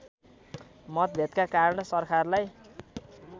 मतभेदका कारण सरकारलाई